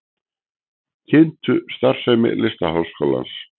Kynntu starfsemi Listaháskólans